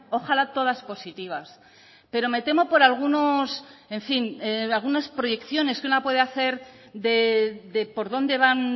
ojala todas positivas pero me temo por algunos en fin algunas proyecciones que una puede hacer de por dónde van